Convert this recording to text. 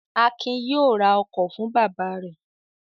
Akin yóò ra ọkọ̀ fún bàbá rẹ̀!